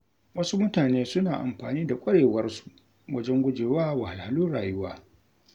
Wasu mutane suna amfani da ƙwarewarsu wajen gujewa wahalhalun rayuwa.